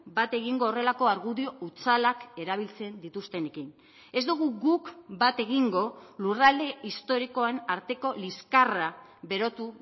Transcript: bat egingo horrelako argudio hutsalak erabiltzen dituztenekin ez dugu guk bat egingo lurralde historikoen arteko liskarra berotu